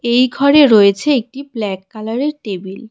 এই ঘরে রয়েছে একটি ব্ল্যাক কালারের টেবিল ।